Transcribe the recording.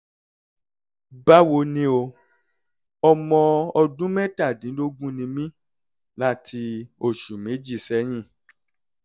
báwo ni o? ọmọ ọdún mẹ́tàdínlógún ni mí (láti oṣù méjì sẹ́yìn)